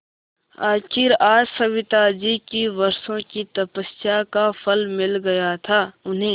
आखिर आज सविताजी की वर्षों की तपस्या का फल मिल गया था उन्हें